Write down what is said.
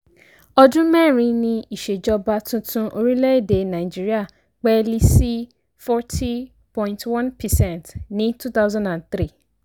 ọdún mẹ́rin ní ìsèjọba tuntun orílẹ̀ èdè nàìjíríà pẹ́ẹ́lí sí forty point one percent ní two thousand and three